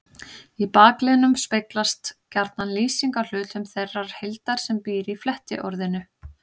Í bakliðnum speglast gjarna lýsing á hlutum þeirrar heildar sem býr í flettiorðinu.